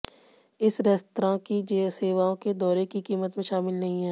इन restaurant की सेवाओं के दौरे की कीमत में शामिल नहीं हैं